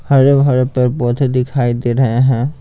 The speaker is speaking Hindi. हरे-भरे पेड़-पौधे दिखाई दे रहे हैं।